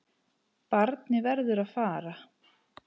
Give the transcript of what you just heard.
Barnið verður að fara.